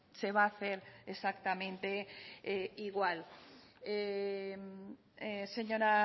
se va a hacer exactamente igual señora